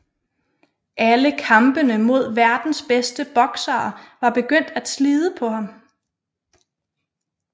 Alle kampene mod verdens bedste boksere var begyndt at slide på ham